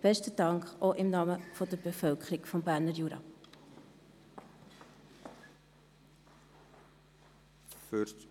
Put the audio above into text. Besten Dank, auch im Namen der Bevölkerung des Berner Juras.